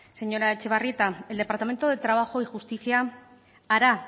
señora etxebarrieta del departamento de trabajo y justicia hará